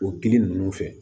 O gili ninnu fɛ